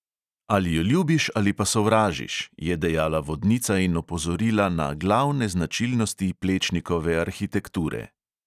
"Ali jo ljubiš ali pa sovražiš," je dejala vodnica in opozorila na glavne značilnosti plečnikove arhitekture.